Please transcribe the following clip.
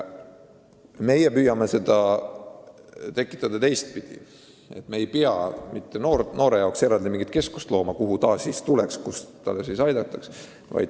Meie püüame lahenduse saavutada n-ö teistpidi: me ei loo noorte jaoks mingit eraldi keskust, kus neid aidataks.